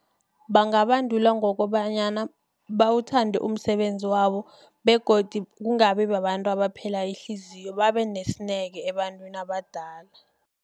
Bangabandulwa ngokobanyana bawuthande umsebenzi wabo begodu kungabi babantu abaphela ihliziyo babe nesineke ebantwini abadala.